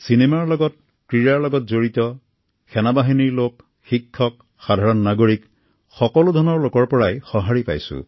cinema ক্ৰীড়াৰ লগত জড়িত লোক সেনা বাহিনীৰ লোক শিক্ষক কৃষক সাধাৰণ নাগৰিকসকলো ধৰণৰ লোকৰ পৰাই সহাঁৰি পাইছো